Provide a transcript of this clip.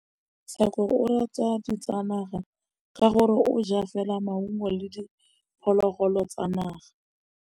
Tshekô o rata ditsanaga ka gore o ja fela maungo le diphologolo tsa naga.